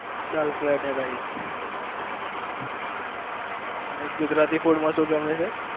દાળ fry અને rise અને Gujarati food માં શું ગમે છે?